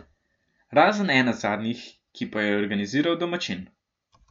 Razen ena zadnjih, ki pa jo je organiziral domačin.